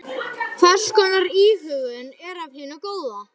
Hvers konar íhugun er af hinu góða.